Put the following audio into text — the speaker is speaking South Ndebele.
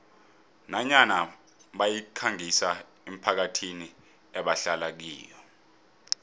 nanyana bayikhangisa emphakathini ebahlala kiyo